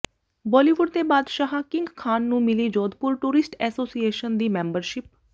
ਬਾਲੀਵੁੱਡ ਦੇ ਬਾਦਸ਼ਾਹ ਕਿੰਗ ਖਾਨ ਨੂੰ ਮਿਲੀ ਜੋਧਪੁਰ ਟੂਰਿਸਟ ਐਸੋਸੀਏਸ਼ਨ ਦੀ ਮੈਂਬਰਸ਼ਿਪ